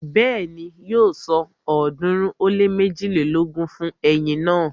Bẹ́ẹ̀ni, yóò san ọ̀ọ́dúnrún ó lé méjilélógún fún eyin náà